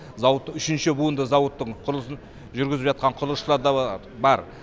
зауыт үшінші буынды зауыттың құрылысын жүргізіп жатқан құрлысышылар да бар